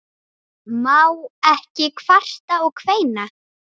Má ekki kvarta og kveina?